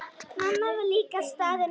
Mamma var líka staðin upp.